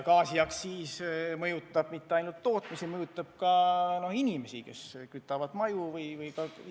Gaasiaktsiis ei mõjuta ainult tootmist, see mõjutab ka inimesi, kes kütavad gaasiga oma kodusid.